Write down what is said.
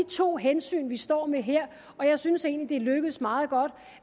to hensyn vi står med her og jeg synes egentlig det er lykkedes meget godt